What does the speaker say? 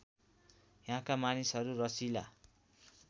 यहाँका मानिसहरू रसिला